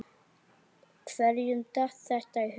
Hverjum datt þetta í hug?